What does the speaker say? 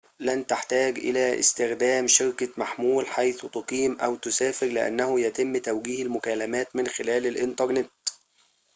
لن تحتاج إلى استخدام شركة محمول حيث تقيم أو تسافر لأنه يتم توجيه المكالمات من خلال الإنترنت